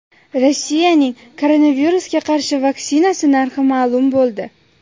Rossiyaning koronavirusga qarshi vaksinasi narxi ma’lum bo‘ldi.